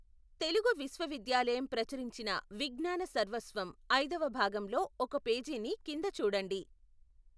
తెలుగు విశ్వవిద్యాలయం ప్రచురించిన విజ్ఞాన సర్వస్వం ఐదవ భాగంలో ఒక పేజీని కింద చూడండి.